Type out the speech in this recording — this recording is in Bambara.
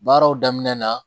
Baaraw daminɛ na